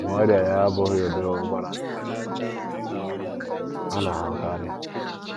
Ma ọrịa ya abụghị ụdị ụkwara nta a na - ahụkarị.